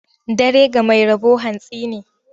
Dare ga mai rabo hantsi ne.